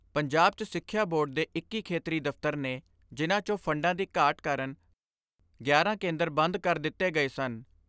ਪੰਜਾਬ 'ਚ ਸਿਖਿਆ ਬੋਰਡ ਦੇ ਇੱਕੀ ਖੇਤਰੀ ਦਫ਼ਤਰ ਨੇ ਜਿਨ੍ਹਾਂ 'ਚੋਂ ਫੰਡਾਂ ਦੀ ਘਾਟ ਕਾਰਨ ਗਿਆਰਾਂ ਕੇਂਦਰ ਬੰਦ ਕਰ ਦਿੱਤੇ ਗਏ ਸਨ।